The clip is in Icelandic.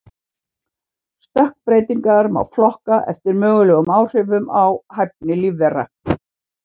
Stökkbreytingar má flokka eftir mögulegum áhrifum á hæfni lífvera.